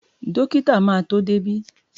Dọ́kítà máa tó dé bí.